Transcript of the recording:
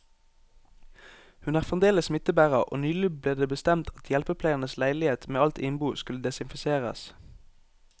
Hun er fremdeles smittebærer, og nylig ble det bestemt at hjelpepleierens leilighet med alt innbo skulle desinfiseres.